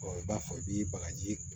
i b'a fɔ i bi bagaji